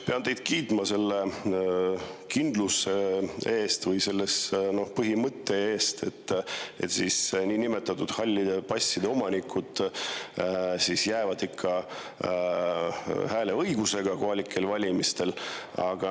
Pean teid kiitma selle kindluse eest või selle põhimõtte eest, et niinimetatud halli passi omanikele ikka jääb hääleõigus kohalikel valimistel.